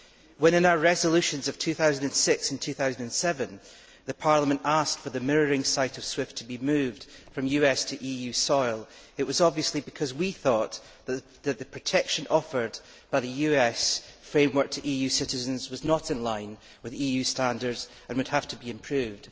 When, in our resolutions of 2006 and 2007, Parliament asked for the mirroring site of SWIFT to be moved from US to EU soil, it was obviously because we thought that the protection offered by the US framework to EU citizens was not in line with EU standards and would have to be improved.